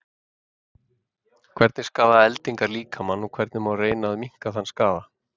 Hvernig skaða eldingar líkamann og hvernig má reyna að minnka þann skaða?